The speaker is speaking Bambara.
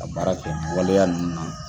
Ka baara kɛ ni waleya ninnu na